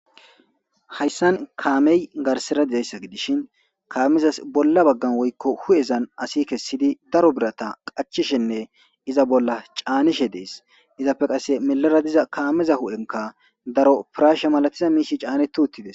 hayssan kaamey garsera dizayssa gidishin kaameza bolla baggan woykko hu7ezan asi kessidi daro birata qachishenne iza bolla caanishe dees izappe qasse melara diza kaameza hu7enka daro piraashe malatiza miishi caanet uuttides